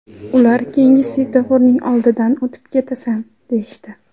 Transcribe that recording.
Ular keyingi svetoforning oldidan olib ketasan deyishdi.